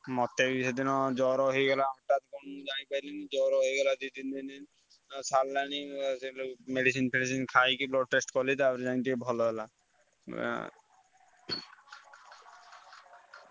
ମତେ ବି ସେଦିନ ଜ୍ଵର ହେଇଗଲା ହଠାତ ମୁଁ ଜାଣିପାଇଲିନି ଜ୍ଵର ହେଇଗଲା ଦି ଦିନି ତିନି ଦିନି ଯାଇ ଛାଡିଲାନି, ସେଠୁ medicine ଫେଡିସିନି ଖାଇକି blood test କଲି ତାପରେ ଯାଇ ଟିକେ ଭଲ ହେଲା ଆଁ।